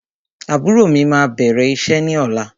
Àbúrò mí máa bẹ̀rẹ̀ iṣẹ́ ní ọ̀la.